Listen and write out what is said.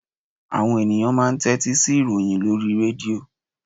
Àwọn ènìyàn máa n tétí sí ìròyìn lórí i rédíò